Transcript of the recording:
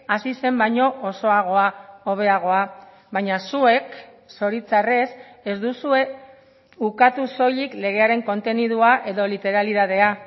hasi zen baino osoagoa hobeagoa baina zuek zoritxarrez ez duzue ukatu soilik legearen kontenidua edo literalitatea